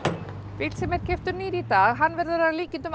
bíll sem keyptur er nýr í dag verður að líkindum